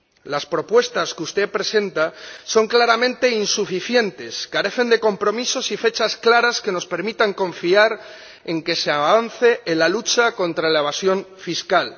Las propuestas que usted presenta son claramente insuficientes, carecen de compromisos y fechas claras que nos permitan confiar en que se avance en la lucha contra la evasión fiscal.